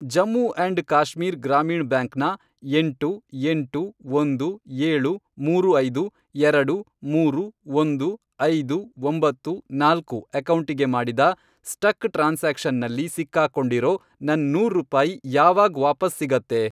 Jammu and Kashmir Grameen bank ನ, ಎಂಟು, ಎಂಟು, ಒಂದು, ಏಳು ಮೂರು ಐದು, ಎರಡು ,ಮೂರು, ಒಂದು, ಐದು, ಒಂಬತ್ತು, ನಾಲ್ಕು, ಅಕೌಂಟಿಗೆ ಮಾಡಿದ ಸ್ಟಕ್ ಟ್ರಾನ್ಸಾಕ್ಷನ್ನಲ್ಲಿ ಸಿಕ್ಕಾಕೊಂಡಿರೋ, ನನ್ ನೂರು ರೂಪಾಯಿ ಯಾವಾಗ್ ವಾಪಸ್ ಸಿಗತ್ತೆ?